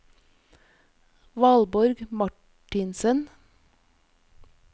Valborg Marthinsen